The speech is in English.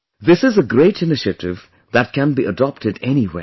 This is a great initiative that can be adopted anywhere